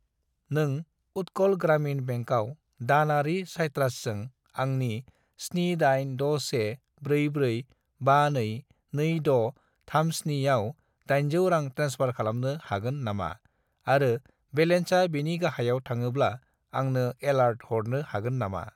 नों उट्कल ग्रामिन बेंकआव दानारि साइट्रासजों आंनि 786144522637 आव 800 रां ट्रेन्सफार खालामनो हागोन नामा आरो बेलेन्सा बेनि गाहायाव थाङोब्ला आंनो एलार्ट हरनो हागोन नामा?